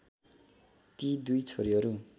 ती दुई छोरीहरु